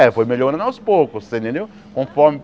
É, foi melhorando aos poucos, você entendeu? Conforme